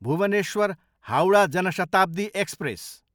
Bhubaneswar, Howrah Jan Shatabdi express